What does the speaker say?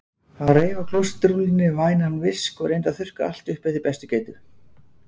Hann reif af klósettrúllunni vænan visk og reyndi að þurrka allt upp eftir bestu getu.